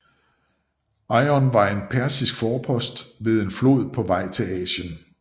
Eion var en persisk forpost ved en flod på vejen til Asien